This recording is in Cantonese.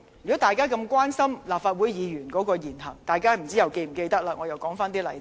如果大家關心立法會議員的言行，大家又是否記得一些事件呢？